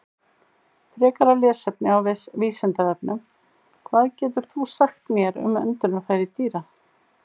Frekara lesefni á Vísindavefnum: Hvað getur þú sagt mér um öndunarfæri dýra?